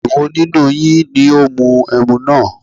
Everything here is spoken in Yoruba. Èwo nínú yín ní ó mu ẹmu náà?